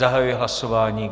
Zahajuji hlasování.